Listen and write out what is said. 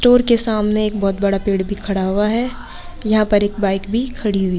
store के सामने एक बोहत बड़ा पेड़ भी खड़ा हुआ है यहाँ पर एक बाइक भी खड़ी हुई --